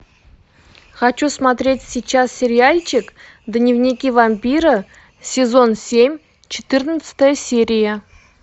хочу смотреть сейчас сериальчик дневники вампира сезон семь четырнадцатая серия